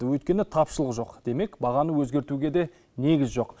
өйткені тапшылық жоқ демек бағаны өзгертуге де негіз жоқ